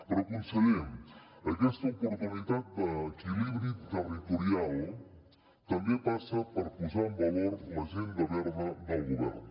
però conseller aquesta oportunitat d’equilibri territorial també passa per posar en valor l’agenda verda del govern